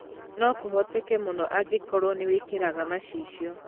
No kũhoteke mũno angĩkorwo nĩ wĩkĩraga macicio.